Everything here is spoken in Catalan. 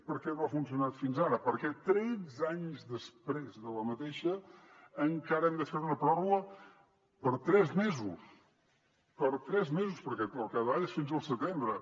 per què no ha funcionat fins ara per què tretze anys després encara hem de fer una pròrroga per tres mesos per tres mesos perquè al capdavall és fins al setembre